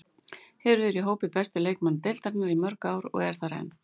Hefur verið í hópi bestu leikmanna deildarinnar í mörg ár og er þar enn.